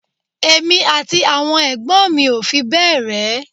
Èmi àti àwọn ẹ̀gbọ́n mi ò fi bẹ́ẹ̀ rẹ́